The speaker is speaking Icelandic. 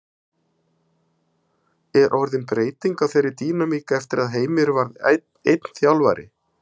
Er orðin breyting á þeirri dýnamík eftir að Heimir varð einn þjálfari?